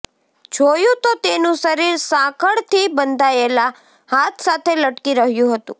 જોયું તો તેનું શરીર સાંકળથી બંધાયેલા હાથ સાથે લટકી રહ્યું હતું